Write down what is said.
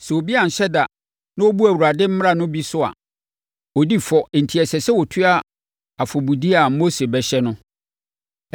“Sɛ obi anhyɛ da na ɔbu Awurade mmara no bi so a, ɔdi fɔ enti ɛsɛ sɛ ɔtua afɔbudeɛ a Mose bɛhyɛ no.